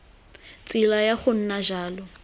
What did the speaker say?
tsela ya go nna jalo